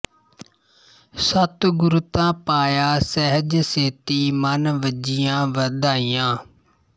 ਸਤਿਗੁਰੁ ਤ ਪਾਇਆ ਸਹਜ ਸੇਤੀ ਮਨਿ ਵਜੀਆ ਵਾਧਾਈਆ